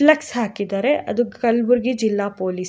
flex ಹಾಕಿದರೆ ಅದು ಕಲ್ಬುರ್ಗಿ ಜಿಲ್ಲಾ ಪೊಲೀಸ್ --